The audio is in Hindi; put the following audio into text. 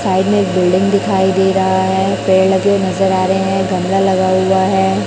साइड में एक बिल्डिंग दिखाई दे रहा है पेड़ लगे नजर आ रहे हैं गमला लगा हुआ है।